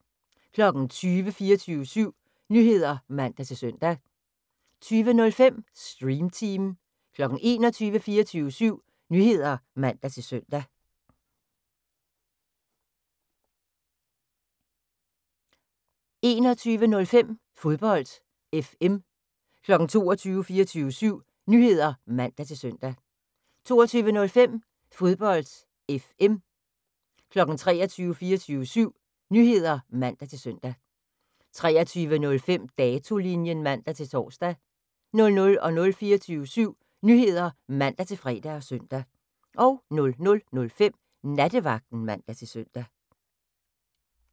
20:00: 24syv Nyheder (man-søn) 20:05: Stream Team 21:00: 24syv Nyheder (man-søn) 21:05: Fodbold FM 22:00: 24syv Nyheder (man-søn) 22:05: Fodbold FM 23:00: 24syv Nyheder (man-søn) 23:05: Datolinjen (man-tor) 00:00: 24syv Nyheder (man-fre og søn) 00:05: Nattevagten (man-søn)